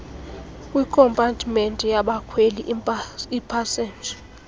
kwikompatimenti yabakhweli iipasenja